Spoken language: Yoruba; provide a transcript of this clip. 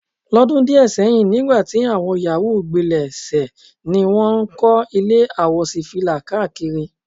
Ló̩dún díè̩ sé̩yìn nígbà tí àwo̩n yàwúù gbilè̩ se ni wó̩n ń kó̩ ilé àwòs̩ífìlà káàkiri.